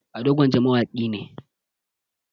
ado gwanja mawaki ne